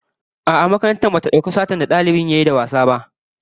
A'a, makaranta bata dauki laifin satar da dalibin yayi da wasa ba